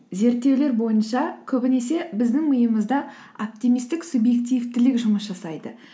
зерттеулер бойынша көбінесе біздің миымызда оптимисттік субъективтілік жұмыс жасайды